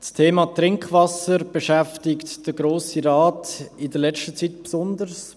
Das Thema Trinkwasser beschäftigt den Grossen Rat in letzter Zeit besonders.